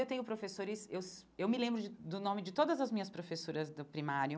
Eu tenho professores eu eu me lembro de do nome de todas as minhas professoras do primário.